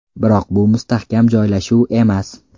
Biroq bu mustahkam joylashuv emas.